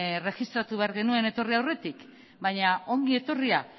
erregistratu behar genuen etorri aurretik baina ongi etorria